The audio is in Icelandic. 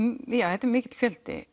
þetta er mikill fjöldi